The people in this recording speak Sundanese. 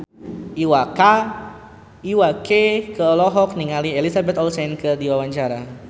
Iwa K olohok ningali Elizabeth Olsen keur diwawancara